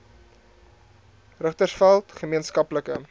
richtersveld gemeen skaplike